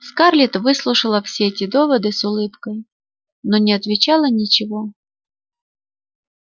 скарлетт выслушивала все эти доводы с улыбкой но не отвечала ничего